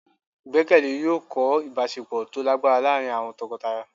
igbekele yọọ kọ ìbáṣepọ to lagbara laarín awọn tọkọtaya